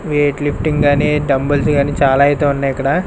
Wait lifting గాని dumbbells గాని చాలా అయితే ఉన్నాయి ఇక్కడ.